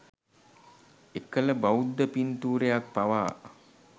එකල බෞද්ධ පින්තූරයක් පවා